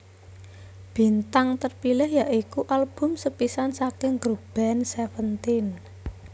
Bintang Terpilih yaiuku album sepisan saking grup band Séventéén